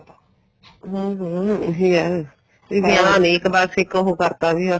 ਹਮ ਹਮ ਇਹ ਏ ਵੀ ਗਿਆਨ ਏ ਇੱਕ ਬੱਸ ਉਹ ਕਰਤਾ ਵੀ ਬੱਸ